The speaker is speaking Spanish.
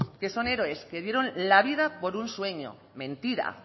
que son héroes que dieron la vida por un sueño mentira